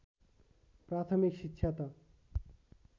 प्राथमिक शिक्षा त